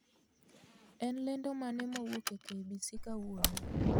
En lendo mane mowuok e k.b.c kawuono